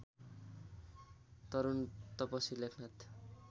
तरूण तपसी लेखनाथ